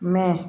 Mɛ